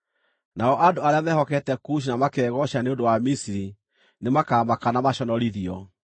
Nao andũ arĩa mehokete Kushi na makegooca nĩ ũndũ wa Misiri nĩmakamaka na maconorithio.